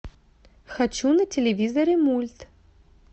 хочу на телевизоре мульт